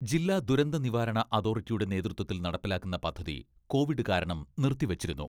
ജില്ലാ ദുരന്തനിവാരണ അതോറ്റിയുടെ നേതൃത്വത്തിൽ നടപ്പിലാക്കുന്ന പദ്ധതി കോവിഡ് കാരണം നിർത്തിവച്ചിരുന്നു.